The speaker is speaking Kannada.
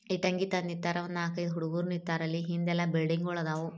ಇಲ್ ಒಂದ್ ನಗರ ಹಿಂದ್ಗಡೆ ಬಿಲ್ಡಿಂಗ್ ಆಯ್ತಾ